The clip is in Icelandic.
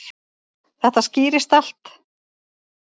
Þetta skýrist allt.